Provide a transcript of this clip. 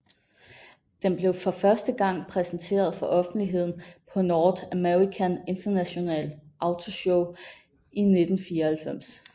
Den blev for første gang præsenteret for offentligheden på North American International Auto Show i 1994